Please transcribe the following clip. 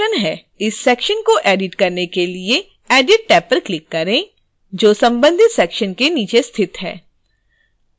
इस सेक्शन्स को एडिट करने के लिए edit टैब पर क्लिक करें जो संबंधित सेक्शन्स के नीचे स्थित है